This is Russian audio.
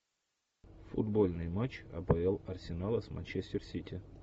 футбольный матч апл арсенала с манчестер сити